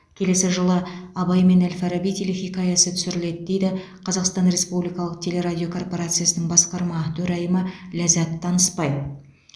келесі жылы абай мен әл фараби телехикаясы түсіріледі дейді қазақстан республикалық телерадио корпорациясының басқарма төрайымы ләззат танысбай